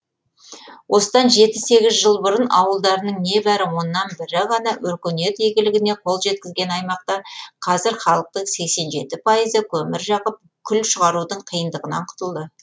осыдан жеті сегіз жыл бұрын ауылдарының не бәрі оннан бірі ғана өркениет игілігіне қол жеткізген аймақта қазір халықтың сексен жеті пайызы көмір жағып күл шығарудың қиындығынан құтылды